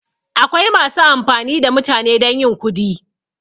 Akwai masu amfani da mutane don yin kudi